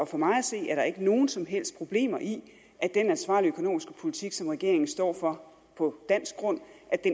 for mig at se er der ikke nogen som helst problemer i at den ansvarlige økonomiske politik som regeringen står for på dansk grund